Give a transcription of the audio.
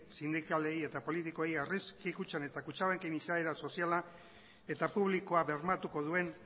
sindikalei eta politikoei aurrezki kutxan eta kutxabanken izaera soziala eta publikoa bermatuko duen